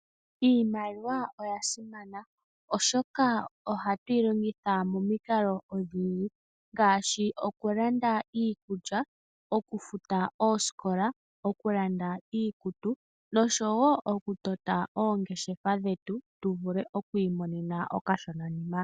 Iimaliwa oya simana oshoka ohatu yi longitha mo mikalo odhindji ngaashi oku landa iikulya, oku futa oosikola, oku landa iikutu nosho wo oku tota oongeshefa dhetu, tu vule okwii monena okashona nima.